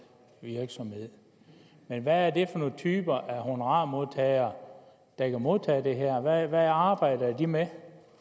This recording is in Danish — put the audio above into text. virksomhed hvad er det for nogle typer af honorarmodtagere der kan modtage det her hvad arbejder de med